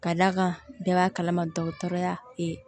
Ka d'a kan bɛɛ b'a kalama dɔgɔtɔrɔya